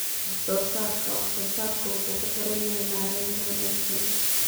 Wax-soo-saarka wax-soo-saarku wuxuu ku xiran yahay maaraynta wanaagsan.